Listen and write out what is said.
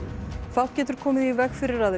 fátt getur komið í veg fyrir að